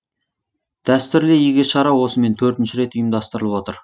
дәстүрлі игі шара осымен төртінші рет ұйымдастырылып отыр